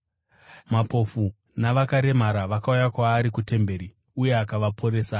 Mapofu navakaremara vakauya kwaari kutemberi, uye akavaporesa.